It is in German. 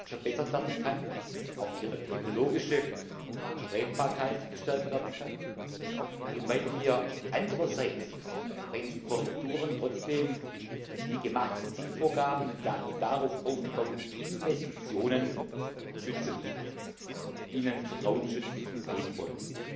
verbessert werden kann, auch ihre ökologische Vertretbarkeit gestärkt werden kann, und weil wir andererseits bei diesen Korrekturen trotzdem die gemachten Zielvorgaben und darauf aufgebauten Investitionen schützen, ihnen Vertrauensschutz geben wollen.